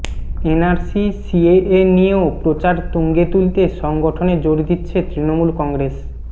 NRC CAA নিয়েও প্রচার তুঙ্গে তুলতে সংগঠনে জোর দিচ্ছে তৃণমূল কংগ্রেস